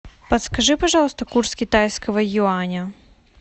подскажи пожалуйста курс китайского юаня